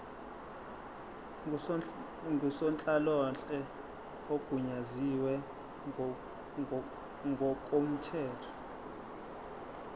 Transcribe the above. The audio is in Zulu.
ngusonhlalonhle ogunyaziwe ngokomthetho